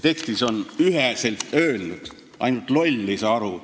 Tekstis on kõik üheselt öeldud, ainult loll ei saa aru.